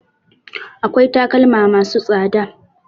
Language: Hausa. Akwai takalma ma su tsada